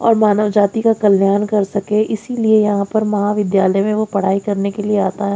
और मानव जाति का कल्याण कर सके इसीलिए यहां पर महाविद्यालय में वह पढ़ाई करने के लिए आता है।